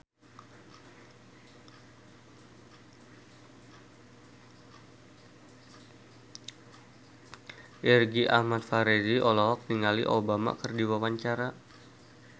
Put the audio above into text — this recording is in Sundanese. Irgi Ahmad Fahrezi olohok ningali Obama keur diwawancara